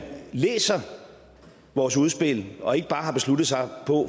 læser vores udspil og ikke bare har besluttet sig